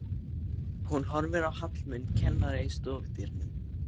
Hún horfir á Hallmund kennara í stofudyrunum.